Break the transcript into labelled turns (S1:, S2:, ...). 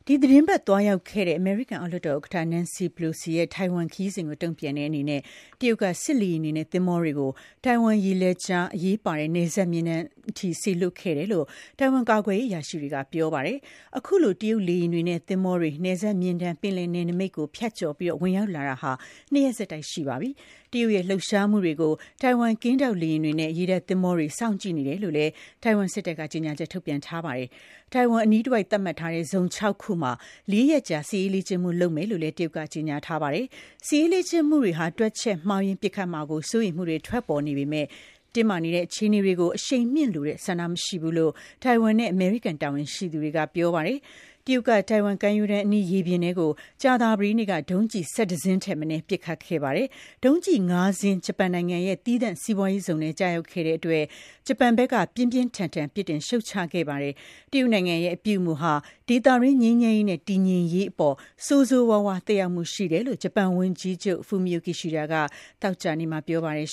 S1: ီတင်းပတ်သွားရောက်ခဲ့တဲ့ အမေရိကန် အောက်လွှတ်တော်ဥက္ကဋ္ဌ Nancy Pelosi ရဲ့ ထိုင်ဝမ်ခရီးစဉ်ကို တုံ့ပြန်တဲ့အနေနဲ့ တရုတ်က စစ်လေယာဉ်တွေနဲ့ သင်္ဘောတွေကို ထိုင်ဝမ်ရေလက်ကြား အရေးပါတဲ့ အလယ်မျဉ်းတန်းအထိ စေလွှတ်ခဲ့တယ်လို့ ထိုင်ဝမ်ကာကွယ်ရေးအရာရှိတွေက ပြောပါတယ်။ အခုလို တရုတ်လေယာဉ်တွေနဲ့ သင်္ဘောတွေ အလယ်မျဉ်းတန်း ပင်လယ်နယ်နမိတ် ကို ဖြတ်ကျော်ဝင်ရောက်လာတာ ၂ ရက်ဆက်တိုက်ရှိပါပြီ။ တရုတ်ရဲ့ လှုပ်ရှားမှုတွေကို ထိုင်ဝမ် ကင်းထောက်လေယာဉ်တွေနဲ့ ရေတပ်သင်္ဘောတွေက စောင့်ကြည့်နေတယ်လို့လည်း ထိုင်ဝမ်စစ်တပ်က ကြေညာချက်ထုတ်ပြန်ထားပါတယ်။ ထိုင်ဝမ်အနီးတဝိုက် သတ်မှတ်ထားတဲ့ ဇုံ ၆ ခုမှာ လေးရက်ကြာ စစ်ရေးလေ့ကျင့်မှုလုပ်မယ်လို့လည်း တရုတ်က ကြေညာထားပါတယ်။ စစ်ရေးလေ့ကျင့်မှုတွေက တွက်ချက်မှုမှားယွင်းပစ်ခတ်မှာကို စိုးရိမ်မှုတွေ ထွက်ပေါ်နေပေမဲ့ တင်းမာနေတဲ့ အခြေအနေတွေကို အရှိန်မြှင့်လိုတဲ့ ဆန္ဒမရှိဘူးလို့ ထိုင်ဝမ်နဲ့ အမေရိကန် တာဝန်ရှိသူတွေက ပြောပါတယ်။ တရုတ်က ထိုင်ဝမ်ကမ်းရိုးတန်းအနီး ရေပြင်ထဲကို ကြာသပတေးနေ့က ဒုံးကျည် ၁၁ စင်းထက်မနည်းပစ်ခတ်ခဲ့တာပါ။ ဒုံးကျည် ၅ စင်း ဂျပန်နိုင်ငံရဲ့သီးသန့်စီးပွားရေးဇုန် ထဲကို ကျရောက်ခဲ့တဲ့အတွက် ဂျပန်နိုင်ငံက ပြင်းပြင်းထန်ထန် ပြစ်တင်ရှုတ်ချခဲ့ပါတယ်။ တရုတ်နိုင်ငံရဲ့ အပြုအမူဟာ ဒေသတွင်း ငြိမ်းချမ်းရေးနဲ့ တည်ငြိမ်ရေးအပေါ် ဆိုးဆိုးရွားရွား သက်ရောက်မှုရှိတယ်လို့လည်း ဂျပန်ဝန်ကြီးချုပ် Fumio Kishida က သောကြာနေ့မှာ ပြောပါတယ်